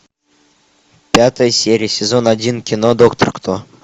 пятая серия сезон один кино доктор кто